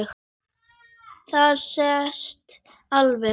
Það sést alveg.